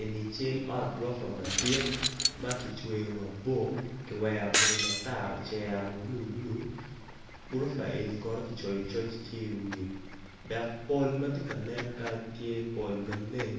Eni cal ot gurofa madit makicweo mabor kiwero kome matar ocero ma blue blue gurofa eni kono kicoyo coc i wiye dok pol matye ka nen kany tye pol maleng